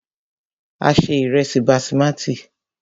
A se ìrẹ́sí basimati.